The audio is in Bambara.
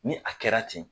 Ni a kɛra ten